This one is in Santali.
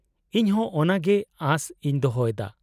-ᱤᱧ ᱦᱚᱸ ᱚᱱᱟᱜᱮ ᱟᱥ ᱤᱧ ᱫᱚᱦᱚᱭ ᱫᱟ ᱾